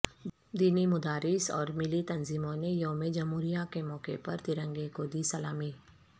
دینی مدارس اور ملی تنظیموں نے یوم جمہوریہ کے موقع پر ترنگے کو دی سلامی